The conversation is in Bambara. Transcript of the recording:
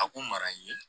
A ko mara n ye